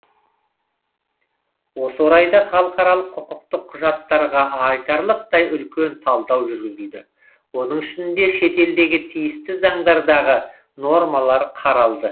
осы орайда халықаралық құқықтық құжаттарға айтарлықтай үлкен талдау жүргізілді оның ішінде шетелдегі тиісті заңдардағы нормалар қаралды